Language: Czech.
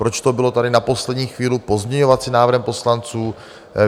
Proč to bylo tady na poslední chvíli pozměňovacím návrhem poslanců?